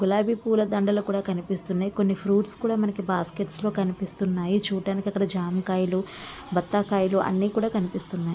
గులాబీ పూల దండలు కూడా కనిపిస్తున్నాయి. కొన్ని ఫ్రూట్స్ కూడా మనకి బాస్కెట్ లో కనిపిస్తున్నాయి . చూడ్డానికి అక్కడ జామ కాయలు బత్తాకాయలు అన్ని కూడా కనిపిస్తున్నాయి.